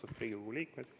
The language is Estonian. Austatud Riigikogu liikmed!